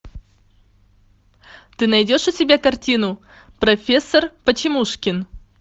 ты найдешь у себя картину профессор почемушкин